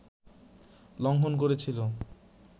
লংঘন করেছিল